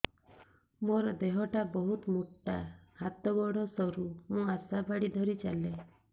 ମୋର ଦେହ ଟା ବହୁତ ମୋଟା ହାତ ଗୋଡ଼ ସରୁ ମୁ ଆଶା ବାଡ଼ି ଧରି ଚାଲେ